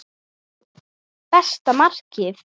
Besta markið?